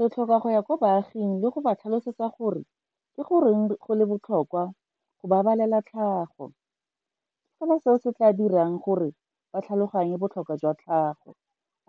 Re tlhoka go ya kwa baaging le go ba tlhalosetsa gore ke goreng go le botlhokwa go babalela tlhago. Ke fela seo se tla dirang gore ba tlhaloganye botlhokwa jwa tlhago,